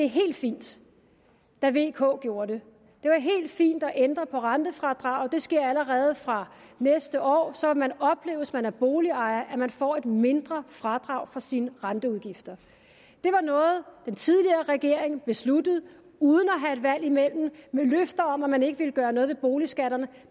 helt fint da vk gjorde det det var helt fint at ændre på rentefradraget det sker allerede fra næste år så vil man opleve hvis man er boligejer at man får et mindre fradrag for sine renteudgifter det var noget den tidligere regering besluttede uden at have et valg imellem med løfter om at man ikke ville gøre noget ved boligskatterne